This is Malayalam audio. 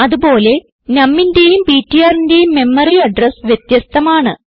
അതുപോലെ numന്റേയും ptrന്റേയും മെമ്മറി അഡ്രസ് വ്യത്യസ്ഥമാണ്